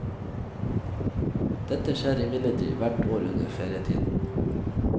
Dette skjer imidlertid hvert år under ferietiden.